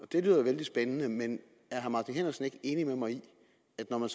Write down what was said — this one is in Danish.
det lyder vældig spændende men er herre martin henriksen ikke enig med mig i det